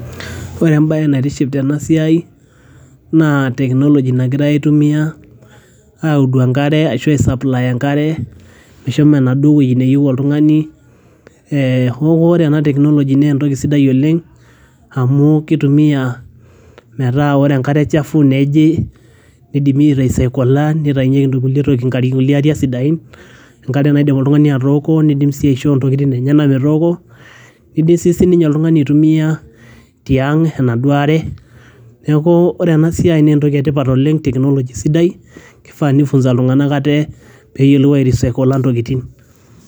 ore embaye naitiship tena siai naa technology nagirae aitumia audu enkare ashu ae supply enkare meshomo enaduo wueji neyieu oltung'ani eh, oku ore ena technology naa entoki sidai oleng amu kitumia metaa ore enkare chafu nejii nidimi ae risaikola nitainyieki nkulie tokitin nkulie ariak sidain enkare naidim oltung'ani atooko nidim sii aisho intokitin enyenak metooko nidim sii sininye oltung'ani aitumia tiang' enaduoa are neku ore ena siai naa entoki etipat oleng technology sidai kifaa nifunza iltung'anak ate peyiolou ae risaikola ntokiting.